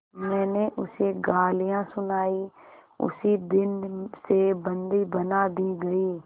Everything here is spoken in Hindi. मैंने उसे गालियाँ सुनाई उसी दिन से बंदी बना दी गई